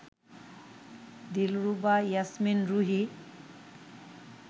Dilruba Yasmin Ruhi